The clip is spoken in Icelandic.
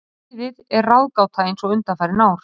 Liðið er ráðgáta eins og undanfarin ár.